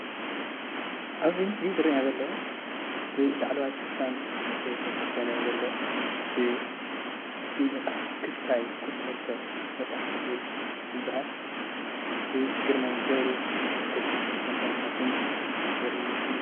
ኣብዚ ምስሊ ዝርእየና ዘሎ ብናይ ላዕለዋይ ሽፋን ዝተሸፈነ ዘለዎ ክስታይ ቁፅሪ 2 መፅሓፍ ወግዒ ዝተበሃል ብግርማይ ገብሩ ብ2006 ዓ/ም ከም ዝተሓተመ ዘርኢ ምስሊ እዩ፡፡